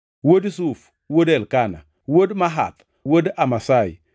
wuod Zuf, wuod Elkana, wuod Mahath, wuod Amasai,